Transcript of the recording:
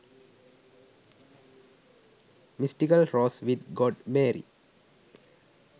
mystical rose with god mary